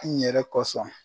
N ɲɛrɛ kosɔn